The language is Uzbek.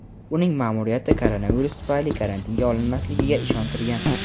uning ma’muriyati koronavirus tufayli karantinga olinmasligiga ishontirgan.